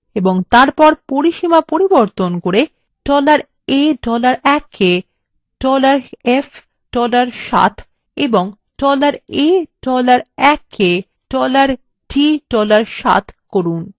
এবং তারপর পরিসীমা পরিবর্তন করে $a $1 কে sf $7 এবং $a $1 কে $d $7 করুন